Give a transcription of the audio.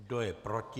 Kdo je proti?